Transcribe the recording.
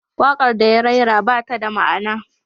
Waƙar da ya rera ba ta da ma'ana.